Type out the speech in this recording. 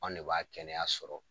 Anw de b'a kɛnɛya sɔrɔ